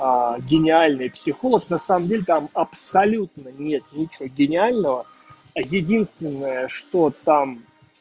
гениальный психолог на самом деле там абсолютно нет ничего гениального единственное что там